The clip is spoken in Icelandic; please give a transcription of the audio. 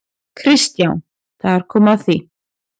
KRISTJÁN: Þar kom að því!